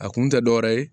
A kun tɛ dɔwɛrɛ ye